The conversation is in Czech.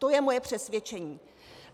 To je moje přesvědčení.